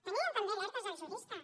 tenien també alertes dels juristes